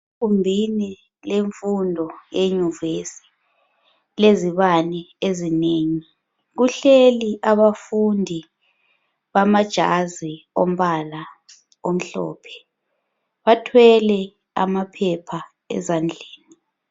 Egumbini lenfundo enyuvesi ,kulezibani ezinengi .Kuhleli abafundi bamajazi ombala omhlophe. Bathwele amaphepha ezandleni.